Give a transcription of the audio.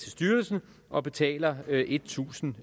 styrelsen og betaler en tusind